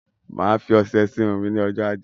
Máa fí ọsẹ sí Irun mí ní ọjọ ajé